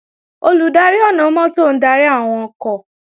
Olùdarí ọ̀nà-mọ́tò ń darí àwọn ọkọ̀